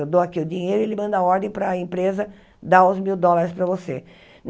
Eu dou aqui o dinheiro e ele manda a ordem para a empresa dar os mil dólares para você.